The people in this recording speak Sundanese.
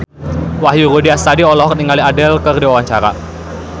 Wahyu Rudi Astadi olohok ningali Adele keur diwawancara